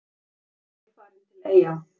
Fyrsta vél farin til Eyja